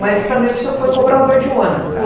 Mas também você foi cobrador de ônibus, não foi?